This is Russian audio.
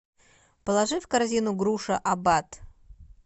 положи в корзину груша аббат